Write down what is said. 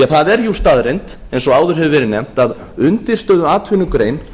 það er jú staðreynd eins og áður hefur verið nefnt að undirstöðuatvinnugrein